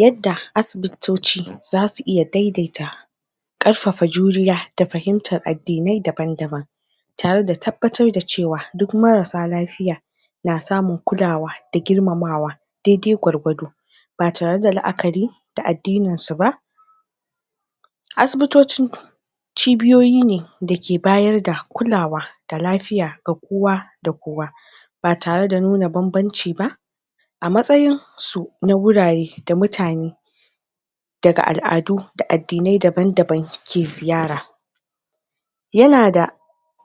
yadda asibitoci zasu iya daidaita ƙarfafa juriya da fahimtar addinai daban daban tare da tabbatar da cewa duk i marasa lafiya na samun kulawa da girmamawa daidai gwargwado ba tare da la'akari da addininsu ba asibitoci cibiyoyi ne dake bayar da kulawa da lafiya ga kowa kowa da kowa ba tare da nuna banbanci ba a matsayinsu na wurare da mutane daga al'adu da addinai daban daban ke ziyara yana da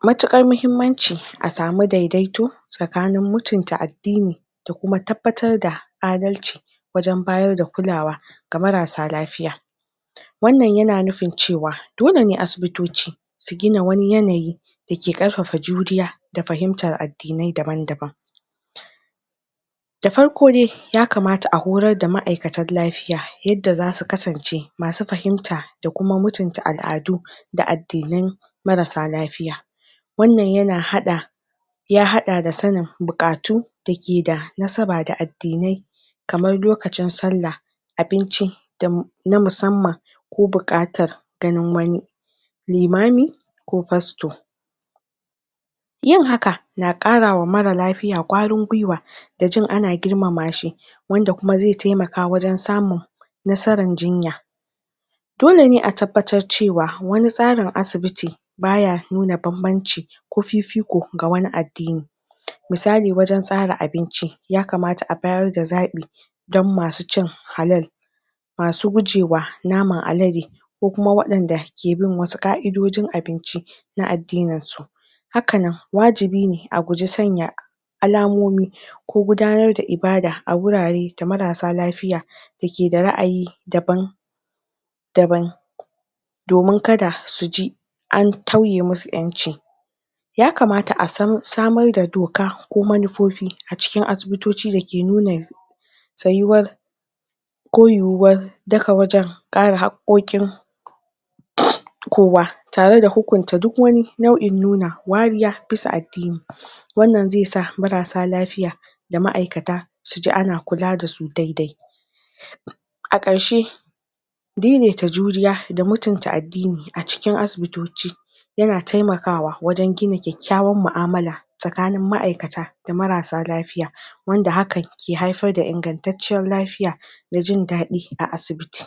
matuƙar mahimmanci a samu daidaito tsakanin mutunta addini da kuma tabbatar da adalci wajan bayar da kulawa ga marasa lafiya wanna yana nufin cewa dole ne asibitoci su gina wani yanayi dake ƙarfafa juriya da fahimtar addinai daban daban da farko dai ya kamata a horar da ma'aikatan lafiya yadda zasu kasance masu fahimta da kuma mutunta al'adu da addinan marasa lafiya wannan yana haɗa ya haɗa da sanin buƙatu dake da nasaba da addinai kaman lokacin sallahabinci na musamman ko buƙatar ganin wani limami ko pasto yin haka na ƙarawa mara lafiya ƙwarin gwiwa da jin ana girmamashi wanda kuma zai taimaka wajan samun nasaran jinya dole ne a tabbatar cewa wani tsarin asibiti baya nuna banbance ko fifiko ga wani addini misali wajan tsara abinci ya makata a bayarda da zaɓi dan masu cin halal masu gajuwa naman adade ko kuma waɗanda ke bin wasu ƙa'idojin abinci na addininsu hakanan wajibi ne a guje sanya alamomi ko gudanar da ibada a gurare da marasa lafiya dake da ra'ayi daban daban domin kada suji an tauye musu ƴanci ya kamata asan samar da doka ko manufofi a cikin asibitoci dake nuna tsayuwar ko yuwuwar daga wajan kare hakkoƙin kowa tare da hukunta duk wani nau'in nuna kariya bisa addini wannan zaisa marasa lafiya da ma'aikata suji ana kula dasu daidai a karshe daidaita juriya da mutunta addini a cikin asibitoci yana taimakawa wajan gina ƙyaƙyawar mu'amala tsakanin ma'aikata da marasa lafiya wanda hakan ke haifar da ingantatciyar lafiya da jindaɗi a asibiti